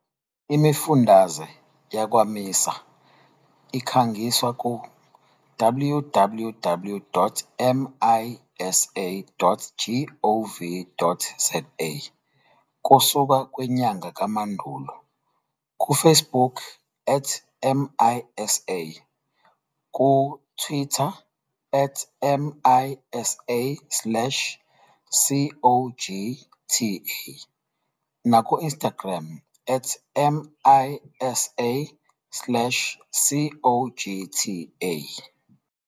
Imifundaze yakwa-MISA ikhangiswa ku-www.misa.gov.za kusuka kwinyanga kaMandulo, kuFacebook @MISA, kuTwitter @MISA_CoGTA nakuInstagram @MISA_CoGTA.